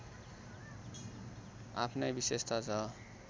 आफ्नै विशेषता छ